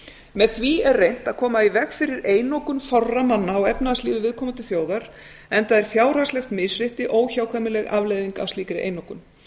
með því er reynt að koma í veg fyrir einokun fárra manna á efnahagslífi viðkomandi þjóðar enda er fjárhagslegt misrétti óhjákvæmileg afleiðing af slíkri einokun